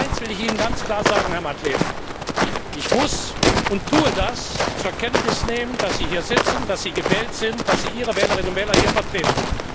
Aber eines will ich Ihnen ganz klar sagen, Herr Madlener Ich muss und tue das zur Kenntnis nehmen, dass Sie hier sitzen, dass Sie gewählt sind, dass Sie Ihre Wählerinnen und Wähler hier vertreten.